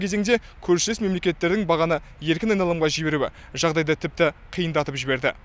кезеңде көршілес мемлекеттердің бағаны еркін айналымға жіберуі жағдайды тіпті қиындатып жіберді